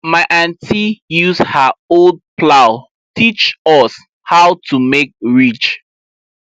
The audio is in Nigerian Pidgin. my auntie use her old plow teach us how to make ridge